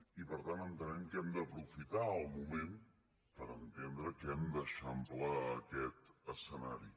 i per tant entenem que hem d’aprofitar el moment per entendre que hem d’eixamplar aquest escenari